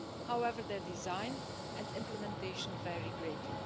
However, their design and implementation vary greatly.